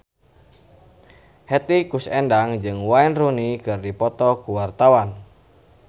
Hetty Koes Endang jeung Wayne Rooney keur dipoto ku wartawan